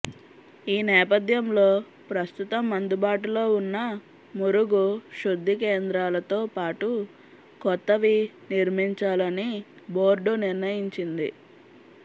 ఈ నేపథ్యంలో ప్రస్తుతం అందుబాటులో ఉన్న మురుగు శుద్ధి కేంద్రాలతో పాటు కొత్తవి నిర్మించాలని బోర్డు నిర్ణయించింది